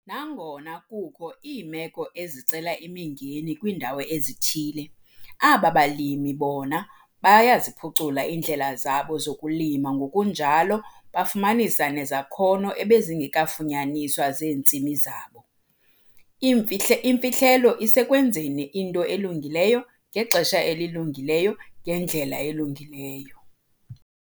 Nangona kukho iimeko ezicela imingeni kwiindawo ezithile, aba balimi bona bayaziphucula iindlela zabo zokulima ngokunjalo bafumanisa nezakhono ebezingekafunyaniswa zeentsimi zabo. Iimfihle imfihlelo isekwenzeni into elungileyo ngexesha elilungileyo ngendlela elungileyo.